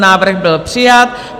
Návrh byl přijat.